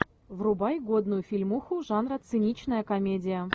врубай годную фильмуху жанра циничная комедия